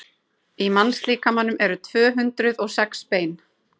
í mannslíkamanum eru tvö hundruð og sex bein